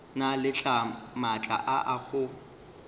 na le maatla a go